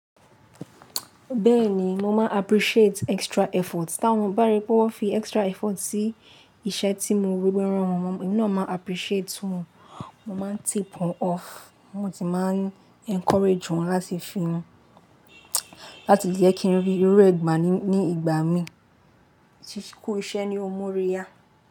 Bẹ́ẹ̀ni, mo máa appreciate extra effort. Tí wọ́n bá rí pé wọ́n fi extra effort sí iṣẹ́ tí mo rí, wí wan rán wọn, emk naa máa n appreciate wọ́n, mo máa n tip wọ́n off, mo sì máa n encourage wọ́n láti fi hun, láti jẹ́ kí n rí irú ẹ̀gbà ní ìgbà mi tí kú iṣẹ́ ni ó morí yá.